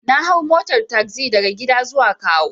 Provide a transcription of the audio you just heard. Na hau motar tagzi daga gida zuwa kawo.